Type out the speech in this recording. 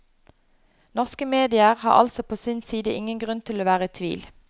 Norske medier har altså på sin side ingen grunn til å være i tvil.